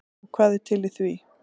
Og hvað er til í því?